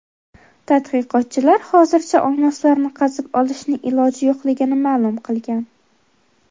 Tadqiqotchilar hozircha olmoslarni qazib olishning iloji yo‘qligini ma’lum qilgan.